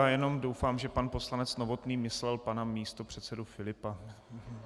Já jenom doufám, že pan poslanec Novotný myslel pana místopředsedu Filipa.